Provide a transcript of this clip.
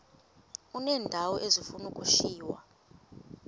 uneendawo ezifuna ukushiywa